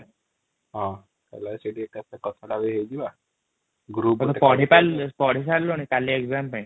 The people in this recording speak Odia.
ପଢିସାରିଲନୁ କଲି ଏଗଜାମ ପାଇଁ |